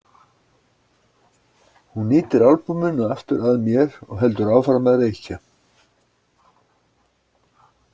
Hún ýtir albúminu aftur að mér og heldur áfram að reykja.